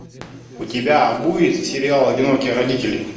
у тебя будет сериал одинокие родители